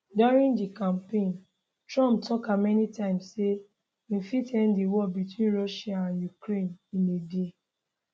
during di campaign trump tak am many times say im fit end di war between russia and ukraine in a day